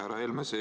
Härra Helme!